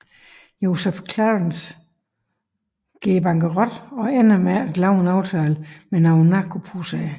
Joseph Clarence går bankerot og ender med at lave en aftale med nogle narko pushere